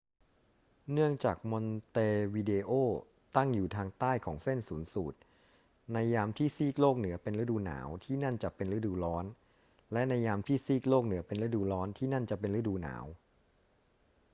เนื่องจากมอนเตวิเดโอตั้งอยู่ทางใต้ของเส้นศูนย์สูตร ในยามที่ซีกโลกเหนือเป็นฤดูหนาว ที่นั่นจะเป็นฤดูร้อน และในยามที่ซีกโลกเหนือเป็นฤดูร้อน ที่นั่นจะเป็นฤดูหนาว